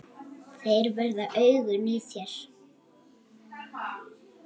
Þeir verða augun í þér.